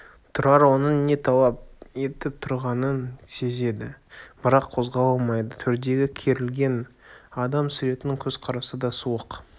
тұрар оның не талап етіп тұрғанын сезеді бірақ қозғала алмайды төрдегі керілген адам-суреттің көзқарасы да суық